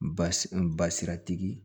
N basi basi tigi